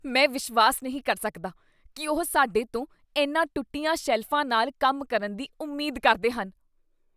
ਮੈਂ ਵਿਸ਼ਵਾਸ ਨਹੀਂ ਕਰ ਸਕਦਾ ਕੀ ਉਹ ਸਾਡੇ ਤੋਂ ਇਨ੍ਹਾਂ ਟੁੱਟੀਆਂ ਸ਼ੈਲਫਾਂ ਨਾਲ ਕੰਮ ਕਰਨ ਦੀ ਉਮੀਦ ਕਰਦੇ ਹਨ।